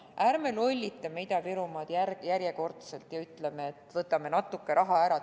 Ärme lollitame Ida-Virumaad järjekordselt ja ärme ütleme, et võtame natuke raha ära.